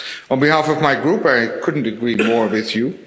On behalf of my Group, I couldn't agree more with you.